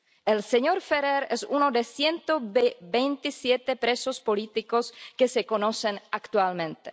El señor Ferrer es uno de los 127 presos políticos que se conocen actualmente